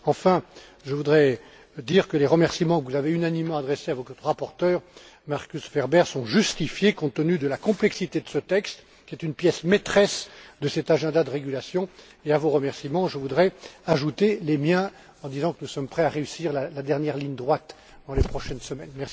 Enfin, je voudrais dire que les remerciements que vous avez unanimement adressés à votre rapporteur, Markus Ferber, sont justifiés compte tenu de la complexité de ce texte, qui est une pièce maîtresse de cet agenda de régulation et, à vos remerciements, je voudrais ajouter les miens, en disant que nous sommes prêts à réussir la dernière ligne droite dans les prochaines semaines.